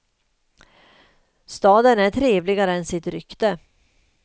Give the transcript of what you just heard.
Staden är trevligare än sitt rykte.